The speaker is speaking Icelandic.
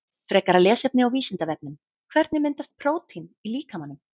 Frekara lesefni á Vísindavefnum Hvernig myndast prótín í líkamanum?